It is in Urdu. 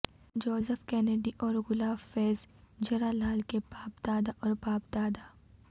جوزف کینیڈی اور گلاب فیزجرالال کے باپ دادا اور باپ دادا